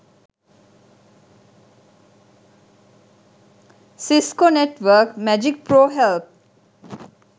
cisco network magic pro help